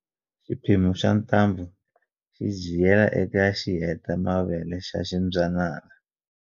Xiphemu xa ntambu xi jiyela eka xihetamavele xa ximbyanyana